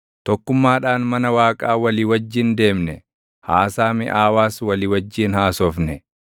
Tokkummaadhaan mana Waaqaa walii wajjin deemne; haasaa miʼaawaas walii wajjin haasofne.